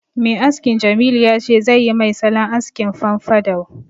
Mai askin Jamilu ya ce zai yi mai salon askin famfadou